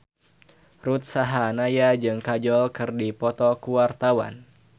Ruth Sahanaya jeung Kajol keur dipoto ku wartawan